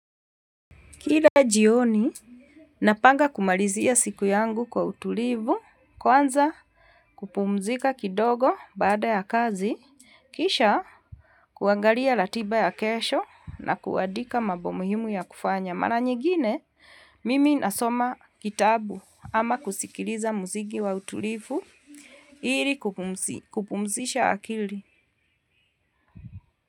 Kila jioni, napanga kumalizia siku yangu kwa utulivu, kwanza kupumzika kidogo baada ya kazi, kisha kuangalia ratiba ya kesho na kuadika mambo muhimu ya kufanya. Mara nyigine, mimi nasoma kitabu ama kusikiliza muzigi wa utulivu ili kupumzisha akili.